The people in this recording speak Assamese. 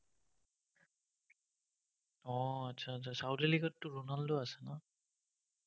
উম আচ্ছা আচ্ছা saudi league টো ronaldo আছে ন?